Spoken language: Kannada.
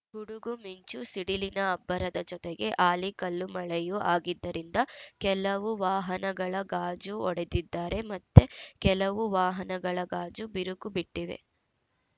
ಗುಡುಗುಮಿಂಚುಸಿಡಿಲಿನ ಅಬ್ಬರದ ಜೊತೆಗೆ ಆಲಿಕಲ್ಲು ಮಳೆಯೂ ಆಗಿದ್ದರಿಂದ ಕೆಲವು ವಾಹನಗಳ ಗಾಜು ಒಡೆದಿದ್ದಾರೆ ಮತ್ತೆ ಕೆಲವು ವಾಹನಗಳ ಗಾಜು ಬಿರುಕು ಬಿಟ್ಟಿವೆ